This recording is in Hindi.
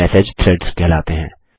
मैसेज थ्रेड्स कहलाते हैं